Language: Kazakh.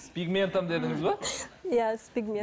с пегментом дедіңіз бе иә с